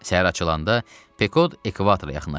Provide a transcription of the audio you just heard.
Səhər açılanda Pekod ekvatora yaxınlaşırdı.